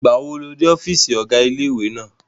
Ìgbàwo lo dé ọ́fìsì ọ̀gá ilé-ìwé náà?